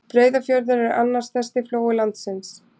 Breiðafjörður er annar stærsti flói landsins.